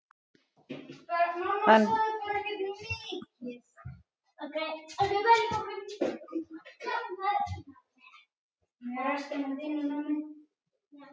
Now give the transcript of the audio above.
Hann lét því þessa aðvörun ganga áfram til yfirboðara sinna hjá Vegagerðinni í Reykjavík.